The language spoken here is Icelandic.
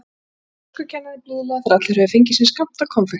sagði dönskukennarinn blíðlega þegar allir höfðu fengið sinn skammt af konfekti.